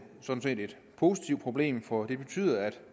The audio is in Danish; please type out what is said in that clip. sådan set et positivt problem for det betyder at